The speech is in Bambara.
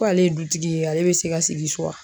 Ko ale ye dutigi ye ale bɛ se ka sigi so wa